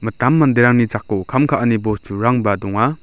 mitam manderangni jako kam ka·ani bosturangba donga.